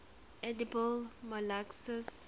edible molluscs